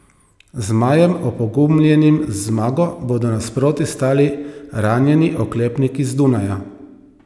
Zmajem, opogumljenim z zmago, bodo nasproti stali ranjeni oklepniki z Dunaja.